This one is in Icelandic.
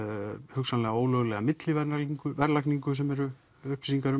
hugsanlega ólöglega millverðlagningu sem eru upplýsingar